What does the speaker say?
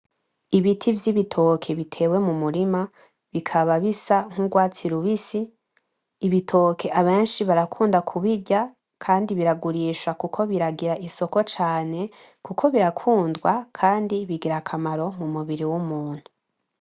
Ibiti vy’ibitoki bitewe mu murima bikaba bisa nk'urwatsi rubisi, Ibitoki abenshi barakunda ku birya kandi biragurisha kuko biragira isoko cane kuko birakundwa kandi bigira akamaro mu mubiri w’umuntu.